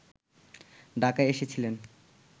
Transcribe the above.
ঢাকায় এসেছিলেন